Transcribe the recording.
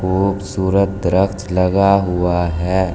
खूबसूरत दरख्त लगा हुआ है।